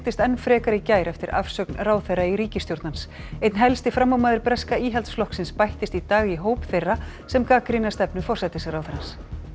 enn frekar í gær eftir að ráðherra í ríkisstjórn hans einn helsti framámaður breska Íhaldsflokksins bættist í dag í hóp þeirra sem gagnrýna stefnu forsætisráðherrans